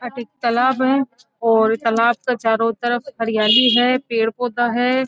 अटे एक तालाब है और तालाब के चारो तरफ हरियाली है पेड़ पौधा है।